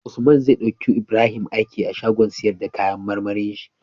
Usman zai dauki Ibrahim aiki a shagon siyar da kayan marmarin shi